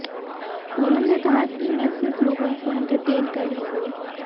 पूनम ने कहा मैं सिर्फ लोगों को एंटरटेन कर रही हूं